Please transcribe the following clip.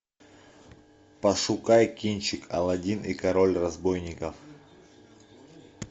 пошукай кинчик аладдин и король разбойников